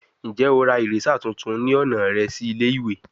Njẹ o ra eraser tuntun ni ọna rẹ si ile-iwe?